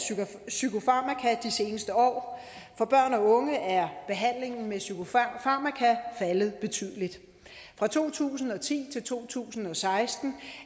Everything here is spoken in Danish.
psykofarmaka de seneste år for børn og unge er behandlingen med psykofarmaka faldet betydeligt fra to tusind og ti til to tusind og seksten